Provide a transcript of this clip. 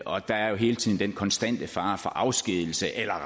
og der er jo hele tiden den konstante fare for afskedigelse eller